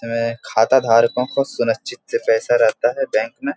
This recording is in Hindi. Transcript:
में खाताधारको को सुनिश्चित से पैसा रहता है बैंक में |